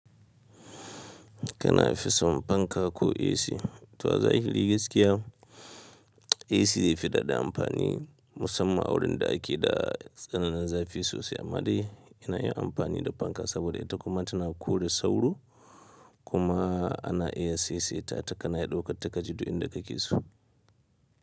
Kana fison fanka ko AC, to azahiri gaskiya. AC zai fi daɗa amfani musamman a wurin da ake da tsananin zafi sosai. Amma dai yana yin amfani da fanka saboda ita kuma tana ƙure sauro kuma ana iya seseta ta kana iya ɗauka ta ka je duk inda ka keso.